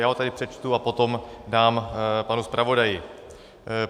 Já ho tady přečtu a potom dám panu zpravodaji.